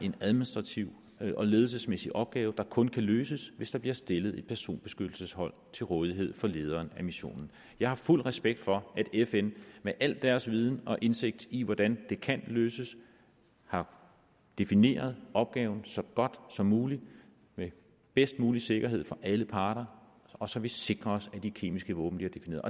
en administrativ og ledelsesmæssig opgave der kun kan løses hvis der bliver stillet et personbeskyttelseshold til rådighed for lederen af missionen jeg har fuld respekt for at fn med al deres viden og indsigt i hvordan det kan løses har defineret opgaven så godt som muligt med bedst mulig sikkerhed for alle parter og så vi sikrer os at de kemiske våben bliver defineret